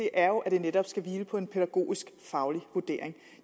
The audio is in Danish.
er at det netop skal hvile på en pædagogisk faglig vurdering